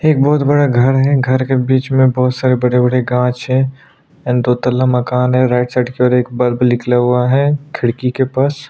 एक बहुत बड़ा घर है घर के बीच में बहुत सारे बड़े बड़े कांच हैं एन्ड दो तल्ला माकन है राइट साइड की और एक ब्लब निकला हुआ है खिड़की के पास।